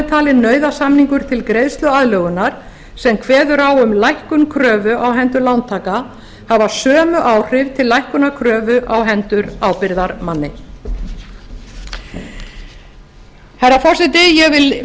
talinn nauðasamningur til greiðsluaðlögunar sem kveður á um lækkun kröfu á hendur lántaka hafa sömu áhrif til lækkunar kröfu á hendur ábyrgðarmanni herra forseti ég vil